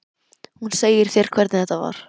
Hún segir þér hvernig þetta var.